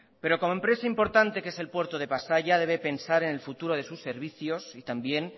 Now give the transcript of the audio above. pero como empresa importante que es el puerto de pasaia debe pensar en el futuro de sus servicios y también